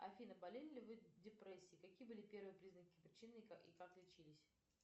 афина болели ли вы депрессией какие были первые признаки причины и как лечились